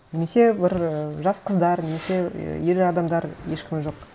немесе бір ы жас қыздар немесе ііі ер адамдар ешкімі жоқ